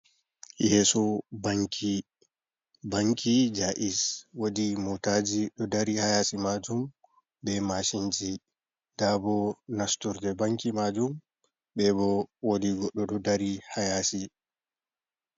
Yeso banki, banki jayis wodi motaji ɗo dari hayasi majum be mashinji, nda bo nasturde banki majum bebo wodi goɗɗo ɗo dari hayasi.